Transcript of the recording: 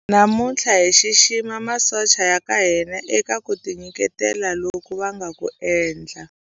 Namuntlha hi xixima masocha ya ka hina eka ku tinyiketela loku va nga ku endla.